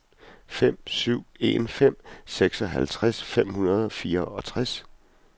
fem syv en fem seksoghalvtreds fem hundrede og fireogtres